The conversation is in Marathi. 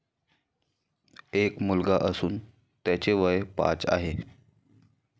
एक मुलगा असून त्याचे वय पाच आहे.